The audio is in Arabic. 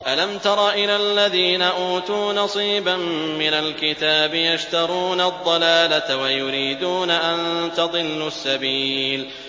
أَلَمْ تَرَ إِلَى الَّذِينَ أُوتُوا نَصِيبًا مِّنَ الْكِتَابِ يَشْتَرُونَ الضَّلَالَةَ وَيُرِيدُونَ أَن تَضِلُّوا السَّبِيلَ